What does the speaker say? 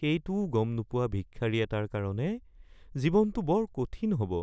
সেইটোও গম নোপোৱা ভিক্ষাৰী এটাৰ কাৰণে জীৱনটো বৰ কঠিন হ'ব